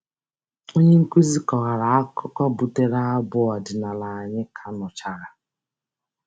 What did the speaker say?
Onyenkụzi kọwara akụkọ butere abụ ọdịnala anyị ka nụchara.